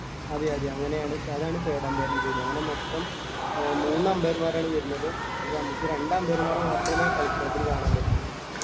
അതെ അതെ അങ്ങനെ ആണ് അതാണ് third umpire ൻ്റെ ജോലി അങ്ങനെ മൊത്തം അഹ് മൂന്ന് umpire മാരാണ് വരുന്നത് ഇതില് നമുക്ക് രണ്ട് umpire മാരെ മാത്രമേ കളിക്കളത്തില് കാണാൻ പറ്റുള്ളൂ